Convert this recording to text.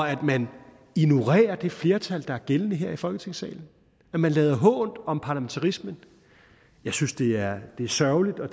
at man ignorerer det flertal der er gældende her i folketingssalen at man lader hånt om parlamentarismen jeg synes det er sørgeligt og